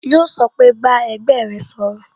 Yó sọ pé "Bá ẹgbẹ́ rẹ sọ̀rọ̀